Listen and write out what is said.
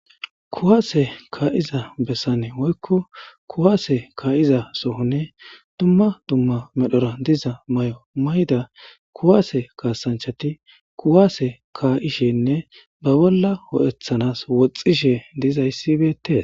kuwaase kaa7iza bessane woykko kuwaase kaa7iza sohonne duma duma medhora diza mayo mayida kuwaase kaasanchati kuwaase kaa7ishenne ba bolla ho7ethanas woxxishe dizayssi beetees.